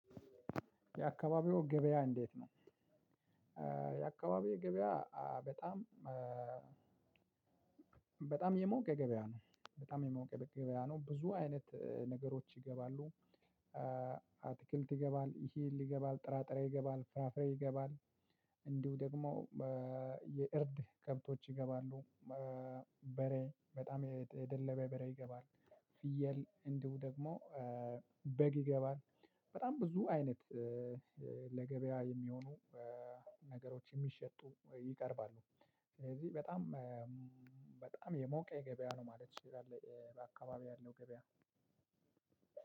የአካባቢው ገበያ እንዴት ነው የአካባቢው ገበያ በጣም የሞቀ ገበያ ነው፣ በጣም የሞቀ ገበያ ነው። ብዙ አይነት ነገሮች ይገባሉ። አትክልት ይገባል፣ እህል ይገባል፣ ጥራጥሬ ይገባል፣ ፍራፍሬ ይገባል፣ እንዲሁ ደግሞ የእርድ ከብቶች ይገባሉ። በ በሬ በጣም የደለባ በሬ ይገባል። ፍየል እንዲሁ ደግሞ በግ ይገባል። በጣም ብዙ አይነት ለገበያ የሚሆኑ ነገሮች የሚሸጡ ይቀርባሉ። ስለዚህ በጣም በጣም የሞቀ ገበያ ነው ማለት እችላለው በአካባቢው ያለው ገበያ።